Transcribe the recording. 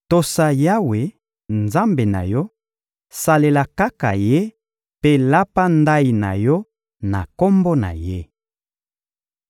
Tosa Yawe, Nzambe na yo; salela kaka Ye mpe lapa ndayi na yo na Kombo na Ye.